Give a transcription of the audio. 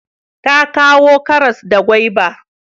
Ta kawo karas da gwaiba